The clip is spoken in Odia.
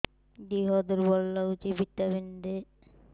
ଦିହ ଦୁର୍ବଳ ଲାଗୁଛି ଭିଟାମିନ ଦେ